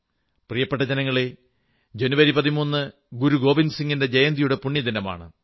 പ്രിയപ്പെട്ട ജനങ്ങളേ ജനുവരി 13 ഗുരു ഗോവിന്ദസിംഗിന്റെ ജയന്തിയുടെ പുണ്യദിനമാണ്